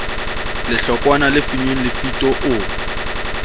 lehlokwana le finnweng lefito o